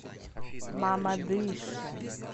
мамадыше